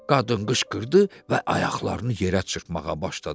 Qadın qışqırdı və ayaqlarını yerə çırpmağa başladı.